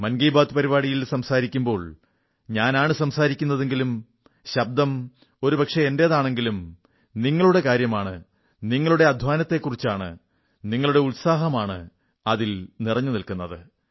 മൻ കീ ബാത്ത് പരിപാടിയിൽ സംസാരിക്കുമ്പോൾ ഞാനാണു സംസാരിക്കുന്നതെങ്കിലും ശബ്ദം ഒരുപക്ഷേ എന്റേതാണെങ്കിലും നിങ്ങളുടെ കാര്യമാണ് നിങ്ങളുടെ അധ്വാനത്തെക്കുറിച്ചാണ് നിങ്ങളുടെ ഉത്സാഹമാണ് അതിൽ നിറഞ്ഞു നിന്നത്